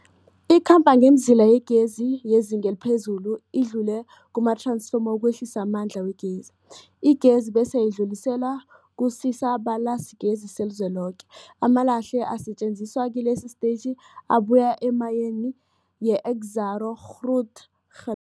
Ikhamba ngemizila yegezi yezinga eliphezulu idlule kumath-ransfoma ukwehlisa amandla wegezi. Igezi bese idluliselwa kusisa-balalisigezi selizweloke. Amalahle asetjenziswa kilesi sitetjhi abuya emayini yeExxaro's Grootege